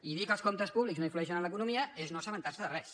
i dir que els comptes públics no influeixen en l’economia és no assabentar se de res